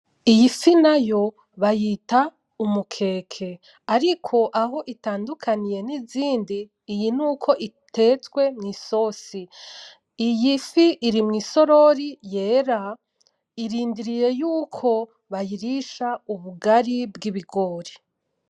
Iyi fi nayo bayita umukeke, ariko aho itandukaniye nizindi, iyi nuko itetswe mw'isosi. Iyi fi iri mwisorori yera, irindiriye yuko bayirisha ubugari bw'ibigori.